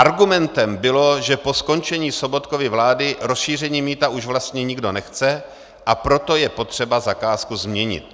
Argumentem bylo, že po skončení Sobotkovy vlády rozšíření mýta už vlastně nikdo nechce, a proto je potřeba zakázku změnit.